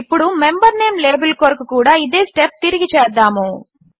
ఇప్పుడు member name label కొరకు కూడా ఇదే స్టెప్ తిరిగి చేద్దాము